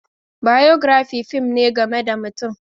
Biography fim ne game da mutum.